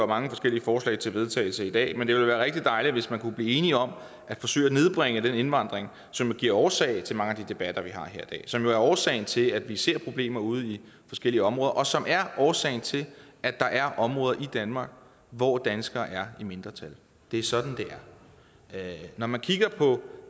mange forskellige forslag til vedtagelse i dag at det ville være rigtig dejligt hvis man kunne blive enige om at forsøge at nedbringe den indvandring som er årsag til mange af de debatter vi har her som jo er årsagen til at vi ser problemer ude i forskellige områder og som er årsagen til at der er områder i danmark hvor danskere er i mindretal det er sådan det er når man kigger på